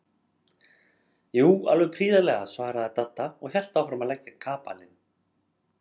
Jú, alveg prýðilega svaraði Dadda og hélt áfram að leggja kapalinn.